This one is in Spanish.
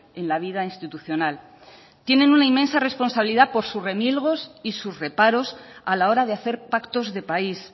en la vida institucional tienen una inmensa responsabilidad por sus remilgos y sus reparos a la hora de hacer pactos de país